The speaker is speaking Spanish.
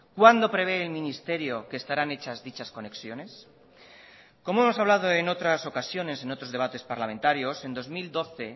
cuándo prevé el ministerio que estarán hechas dichas conexiones como hemos hablado en otras ocasiones en otros debates parlamentarios en dos mil doce